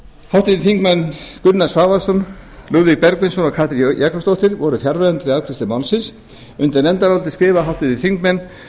háttvirtir þingmenn gunnar svavarsson lúðvík bergvinsson og katrín jakobsdóttir voru fjarverandi við afgreiðslu málsins undir nefndarálitið skrifa háttvirtir þingmenn